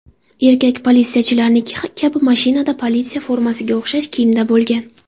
Erkak politsiyachilarniki kabi mashinada, politsiya formasiga o‘xshash kiyimda bo‘lgan.